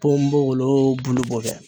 Ponbogolo bulu bɔ dɛ.